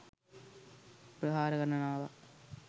ප්‍රහාර ගණනාවක්